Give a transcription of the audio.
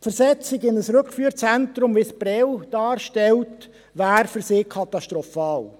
Die Versetzung in ein Rückführzentrum, wie es Prêles darstellt, wäre für sie katastrophal.